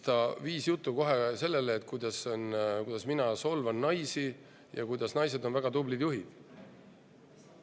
Ta viis jutu kohe sellele, kuidas mina solvan naisi ja kuidas naised on väga tublid juhid.